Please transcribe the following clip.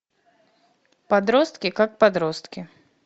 подростки как подростки